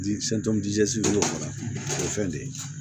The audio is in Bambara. o ye fɛn de ye